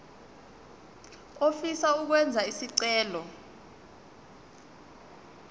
ofisa ukwenza isicelo